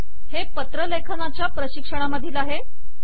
हे पत्रलेखनाच्या प्रशिक्षणामधील आहे